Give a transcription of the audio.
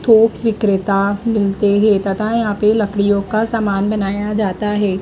थोक विक्रेता मिलते हैं तथा यहां पे लकड़ियों का समान बनाया जाता है।